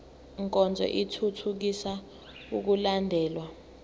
nkonzo ithuthukisa ukulandelwa